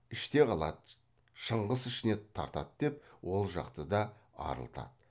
іште қалады шыңғыс ішіне тартады деп ол жақты да арылтады